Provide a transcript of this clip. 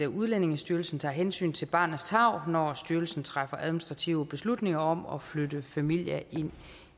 udlændingestyrelsen tager hensyn til barnets tarv når styrelsen træffer administrative beslutninger om at flytte familier ind